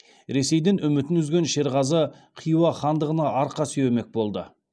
ресейден үмітін үзген шерғазы хиуа хандығына арқа сүйенбек болды